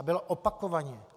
A byl opakovaně.